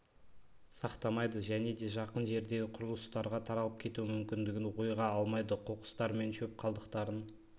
сақтамайды және де жақын жердегі құрлыстарға таралып кету мүмкіндігін ойға алмайды қоқыстар мен шөп қалдықтарын